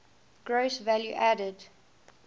gross value added